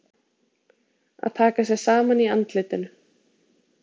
Að taka sig saman í andlitinu